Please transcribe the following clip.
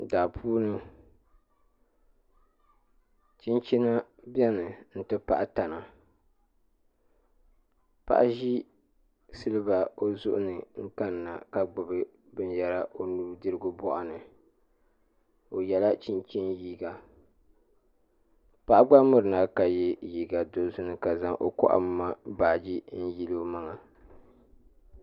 daapuuni chinchina beni n ti pahi tana paɣa ʒi siliba o zuɣuni n kanna ka gbibi binyera o nudirigu bɔɣuni o yela chinchin liiga paɣa gba mirina ka ye liiga dozim ka zaŋ o kohimma baagi n yili o maŋa